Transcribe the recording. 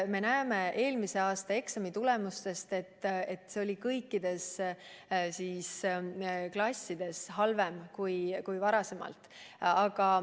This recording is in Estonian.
Me näeme eelmise aasta eksamitulemustest, et kõikides klassides oli pilt halvem kui varem.